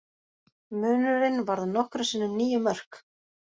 Munurinn varð nokkrum sinnum níu mörk